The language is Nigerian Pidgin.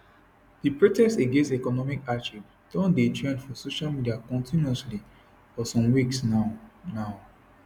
di protest against economic hardship don dey trend for social media continuously for some weeks now now